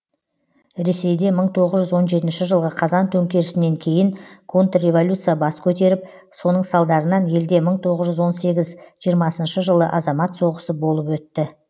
ресейде мың тоғыз жүз он жетінші жылғы қазан төңкерісінен кейін контрреволюция бас көтеріп соның салдарынан елде мың тоғыз жүз он сегіз жиырмасыншы жылы азамат соғысы болып өтті